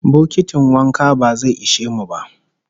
Bokitin wanka ba zai ishe mu ba